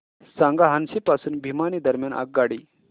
सांगा हान्सी पासून भिवानी दरम्यान आगगाडी